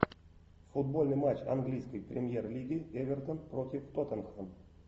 футбольный матч английской премьер лиги эвертон против тоттенхэм